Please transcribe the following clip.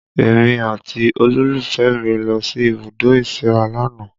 Èmi àti olólùfẹ́ mi lọ sí ibùdó ìsíra lánàá